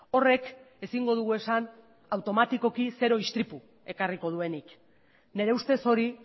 horrek ezingo dugu esan automatikoki zero istripu ekarriko duenik nire ustez hori